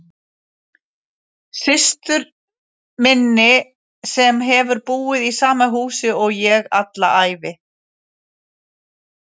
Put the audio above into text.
Systur minni sem hefur búið í sama húsi og ég alla ævi.